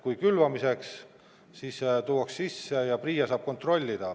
Kui külvamiseks, siis tuuakse sisse ja PRIA saab kontrollida.